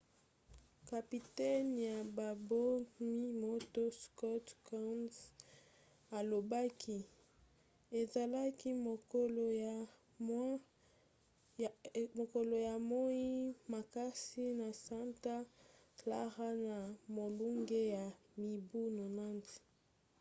kapitene ya babomi-moto scott kouns alobaki: ezalaki mokolo ya moi makasi na santa clara na molunge ya mibu 90